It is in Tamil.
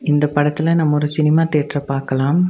இந்த படத்துல நம்ம ஒரு சினிமா தியேட்டர பாக்கலாம்.